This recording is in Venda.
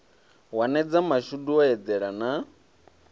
wanedza mashudu o eḓela na